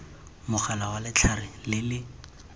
mogala wa letlhare le le